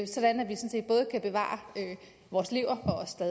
sådan set både kan bevare vores lever